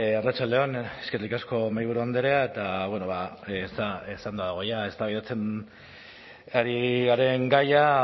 arratsalde on eskerrik asko mahaiburu andrea eta bueno ba esanda dago ja eztabaidatzen ari garen gaia